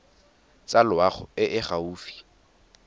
tsa loago e e gaufi